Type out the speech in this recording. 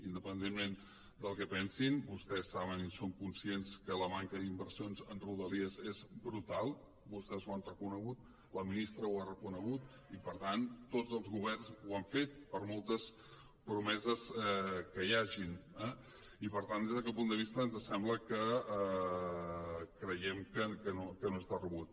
independentment del que pensin vostès saben i són conscients que la manca d’inversions en rodalies és brutal vostès ho han reconegut la ministra ho ha reconegut i per tant tots els governs ho han fet per moltes promeses que hi hagin eh i per tant des d’aquest punt de vista ens sembla creiem que no és de rebut